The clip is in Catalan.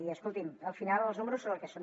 i escolti’m al final els números són el que són